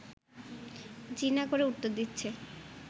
জি না করে উত্তর দিচ্ছে